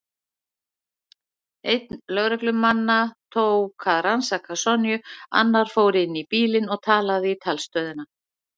Einn lögreglumannanna tók að rannsaka Sonju, annar fór inn í bílinn og talaði í talstöðina.